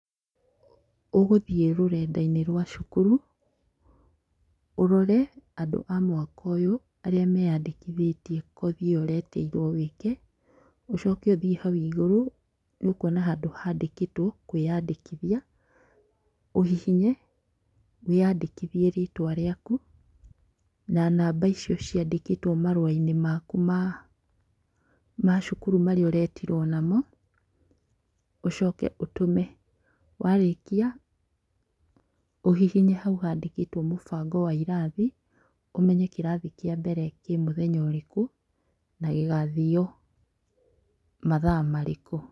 Ũgũthiĩ rũrendainĩ rwa cukuru, ũrore andũ a mwaka ũyũ arĩa meyandĩkithĩtie kothi ĩyo wĩtĩirwo wĩke, ũcoke ũthiĩ hau igũrũ nĩ ũkuona handũ handĩkĩtwo kwĩyandĩkithia, ũhihinye, wĩyandĩkithie rĩtwa rĩaku, na namba icio ciandĩkĩtwo marũainĩ maku ma ma cukuru marĩa ũretirwo namo, ũcoke ũtũme. Warĩkia ũhihinye hau handĩkĩtwo mũbango wa irathi ũmenye kĩrathi kĩa mbere kĩ mũthenya ũrĩkũ na gĩgathio mathaa marĩkũ.